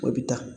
O bɛ taa